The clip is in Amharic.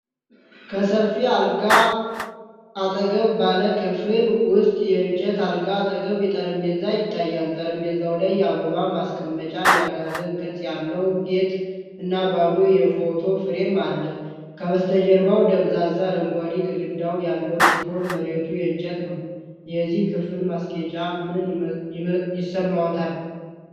ከሰፊ አልጋ አጠገብ ባለ ክፍል ውስጥ የእንጨት የአልጋ አጠገብ ጠረጴዛ ይታያል። ጠረጴዛው ላይ የአበባ ማስቀመጫ፣ የአጋዘን ቅርጽ ያለው ጌጥ እና ባዶ የፎቶ ፍሬም አለ። ከበስተጀርባው ደብዛዛ አረንጓዴ ግድግዳ ያለው ሲሆን መሬቱ የእንጨት ነው። የዚህ ክፍል ማስጌጫ ምን ይሰማዎታል?